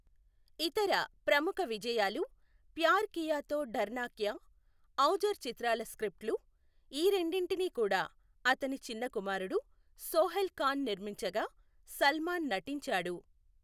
ఇతర ప్రముఖ విజయాలు ప్యార్ కియా తో డర్నా క్యా, ఔజార్ చిత్రాల స్క్రిప్ట్లు, ఈ రెండింటినీ కూడా అతని చిన్న కుమారుడు సోహైల్ ఖాన్ నిర్మించగా, సల్మాన్ నటించాడు.